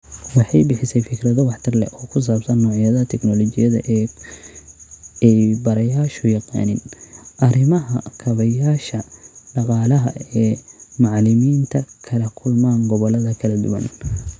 Waxay bixisay fikrado waxtar leh oo ku saabsan noocyada tignoolajiyada ee ay barayaashu yaqaaniin, arrimaha kaabeyaasha dhaqaalaha ee macallimiinta kala kulmaan gobollada kala duwan.